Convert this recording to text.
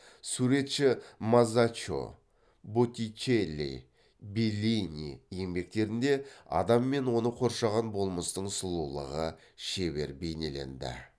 суретші мазаччо боттичелли беллини еңбектерінде адам мен оны қоршаған болмыстың сұлулығы шебер бейнеленді